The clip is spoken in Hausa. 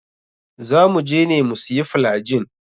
Za muje ne mu siya flygin.